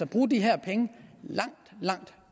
bruge de her penge langt langt